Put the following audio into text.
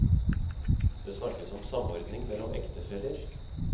Det snakkes om samordning mellom ektefeller.